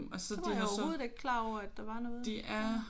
Det var jeg overhovedet ikke klar over at der var noget der